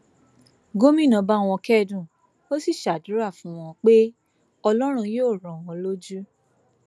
gomina bá wọn kẹdùn ó sì ṣàdúrà fún wọn pé ọlọrun yóò rọ wọn lójú